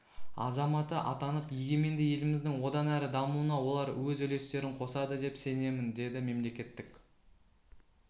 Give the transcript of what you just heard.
азаматы атанып егеменді еліміздің одан әрі дамуына олар өз үлестерін қосады деп сенемін деді мемлекеттік